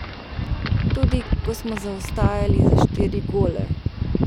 Tudi, ko smo zaostajali za štiri gole.